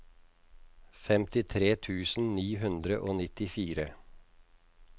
femtitre tusen ni hundre og nittifire